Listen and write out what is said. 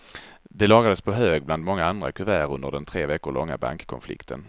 Det lagrades på hög bland många andra kuvert under den tre veckor långa bankkonflikten.